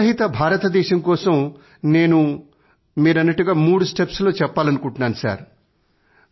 చెత్త రహిత భారతదేశం కోసం నేను మూడు స్టెప్స్ చెప్పాలనుకుంటున్నాను